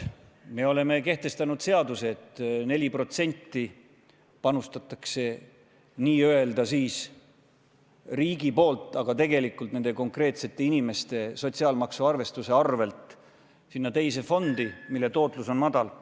Me oleme kehtestanud seaduse, et 4% panustab n-ö riik, aga tegelikult läheb see raha konkreetsete inimeste sotsiaalmaksu arvestuse arvel sinna teise sambasse, mille tootlus on madal.